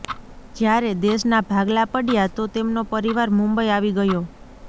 જ્યારે દેશના ભાગલા પડ્યા તો તેમનો પરિવાર મુંબઇ આવી ગયો